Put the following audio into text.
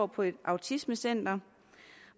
på et autismecenter